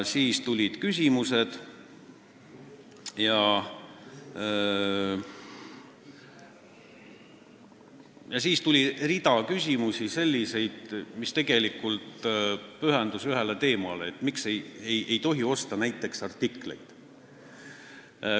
Siis tulid küsimused ja paljud küsimused pühendusid tegelikult ühele teemale: miks ei tohi osta näiteks artikleid.